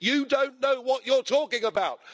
You don't know what you're talking about.